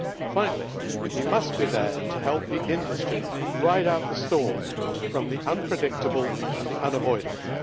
Finally, we must be there to help the industry ride out the storm from the unpredictable and the unavoidable.